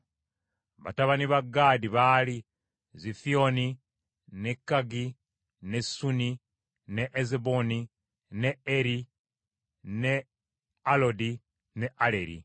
Batabani ba Gaadi baali Zifiyooni, ne Kagi, ne Suni, ne Ezuboni, ne Eri, ne Alodi ne Aleri.